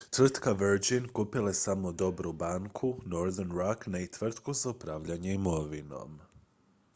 "tvrtka virgin kupila je samo "dobru banku" northern rock ne i tvrtku za upravljanje imovinom.